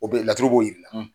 O bɛ ye laturu b'o yir'i la.